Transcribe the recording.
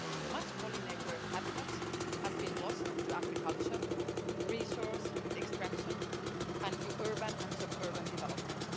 Much pollinator habitat has been lost to agriculture, resource extraction and new urban and suburban development.